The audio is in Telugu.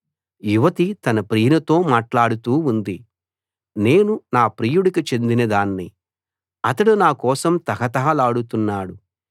యువతి తన ప్రియునితో మాట్లాడుతూ ఉంది నేను నా ప్రియుడికి చెందిన దాన్ని అతడు నా కోసం తహతహలాడుతున్నాడు